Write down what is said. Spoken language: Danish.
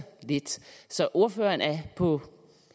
lidt så ordføreren er på